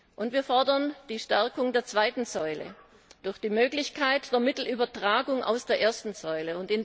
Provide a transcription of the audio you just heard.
Und wir fordern die Stärkung der zweiten Säule durch die Möglichkeit der Mittelübertragung aus der ersten Säule.